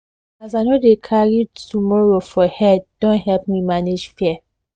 as i no de carrytomorrow for head don help me manage fear